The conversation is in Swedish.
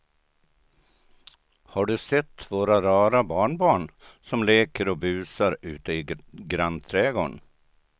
Har du sett våra rara barnbarn som leker och busar ute i grannträdgården!